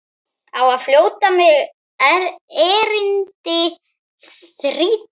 Á flótta mig erindi þrýtur.